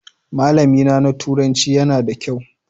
Malamina na turanci yana da kyau.